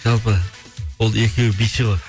жалпы ол екеуі биші ғой